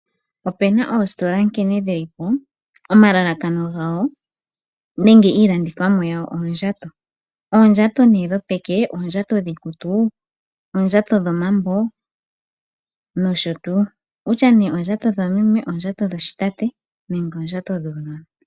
Opena oositola nkene dhi lipo, omalalakano gawo nenge iilandithomwa yawo oondjato. Oondjato nee dhopeke, oondjato dhiikutu, oondjato dhomambo nosho tuu, wutya nee oondjato dhoomeme, oondjato dhoshitate nenge oondjato dhuunona.